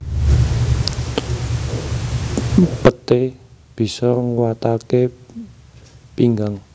Peté bisa nguwataké pinggang